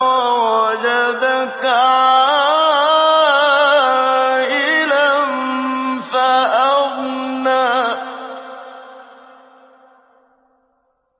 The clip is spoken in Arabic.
وَوَجَدَكَ عَائِلًا فَأَغْنَىٰ